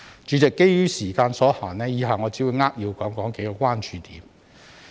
主席，基於時間所限，以下我只會扼要談談幾個關注點。